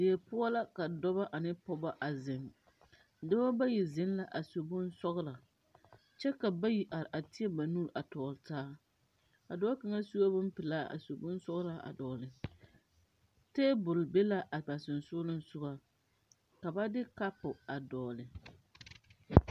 Die poɔ la ka dɔɔ ane pogɔ a zeŋ dɔbɔ bayi zeŋ la su bonsɔglɔ kyɛ ka bayi are a tēɛ ba nu a tɔgle taa a dɔɔ kaŋa suee bonpilaa ka bonsɔglaa a dɔgle tabol be la a ba sensugliŋsugɔ ka ba de kapu a dɔgle.